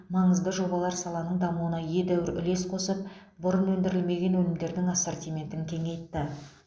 маңызды жобалар саланың дамуына едәуір үлес қосып бұрын өндірілмеген өнімдердің ассортиментін кеңейтті